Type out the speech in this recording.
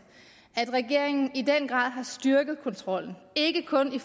at regeringen i den grad har styrket kontrollen ikke kun hvad